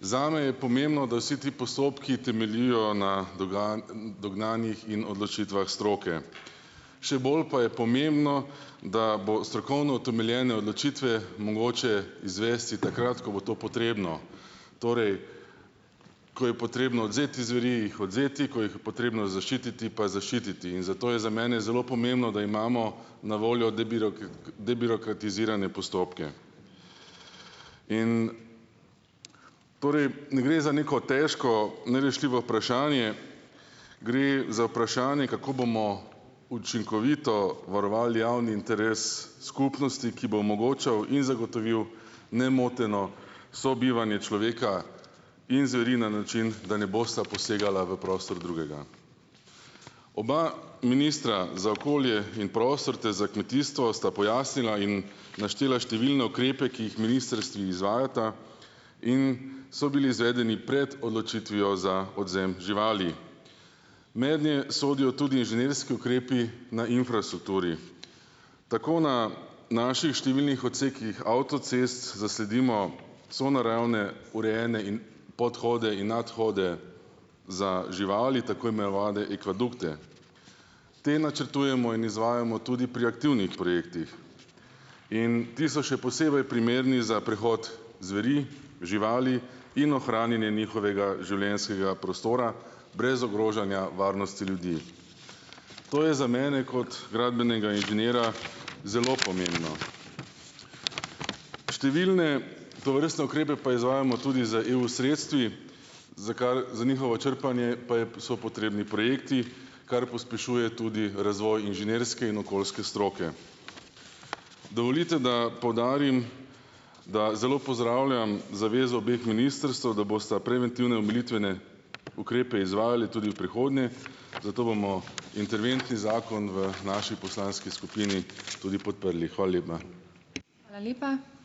Zame je pomembno, da vsi ti postopki temeljijo na dognanjih in odločitvah stroke. Še bolj pa je pomembno, da bo strokovno utemeljene odločitve mogoče izvesti takrat , ko bo to potrebno. Torej, ko je potrebno odvzeti zveri, jih odvzeti, ko jih potrebno zaščititi pa zaščititi. In zato je za mene zelo pomembno, da imamo na voljo debirokratizirane postopke. In, torej, ne gre za neko težko nerešljivo vprašanje. Gre za vprašanje, kako bomo učinkovito varovali javni interes skupnosti, ki bo omogočal in zagotovil nemoteno sobivanje človeka in zveri na način, da ne bosta posegala v prostor drugega . Oba ministra za okolje in prostor ter za kmetijstvo sta pojasnila in naštela številne ukrepe, ki jih ministrstvi izvajata in so bili izvedeni pred odločitvijo za odvzem živali. Mednje sodijo tudi inženirski ukrepi na infrastrukturi. Tako na naših številnih odsekih avtocest zasledimo sonaravne, urejene podhode in nadhode za živali, tako imenovane ikvadukte. Te načrtujemo in izvajamo tudi pri aktivnih projektih. In ti so še posebej primerni za prehod zveri, živali in ohranjanje njihovega življenjskega prostora brez ogrožanja varnosti ljudi. To je za mene kot gradbenega inženirja zelo pomembno . Številne tovrstne ukrepe pa izvajamo tudi z EU sredstvi, za kar za njihovo črpanje pa so potrebni projekti, kar pospešuje tudi razvoj inženirske in okoljske stroke. Dovolite, da podarim, da zelo pozdravljam zavezo obeh ministrstev, da bosta preventivne omilitvene ukrepe izvajali tudi v prihodnje, zato bomo interventni zakon v naši poslanski skupini tudi podprli . Hvala lepa.